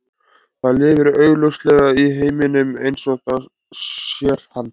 Það lifir augljóslega í heiminum eins og það sér hann.